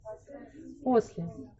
после